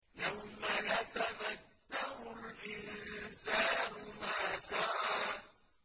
يَوْمَ يَتَذَكَّرُ الْإِنسَانُ مَا سَعَىٰ